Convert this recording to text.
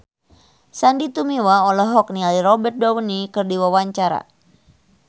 Sandy Tumiwa olohok ningali Robert Downey keur diwawancara